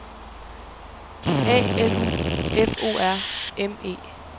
A L U F O R M E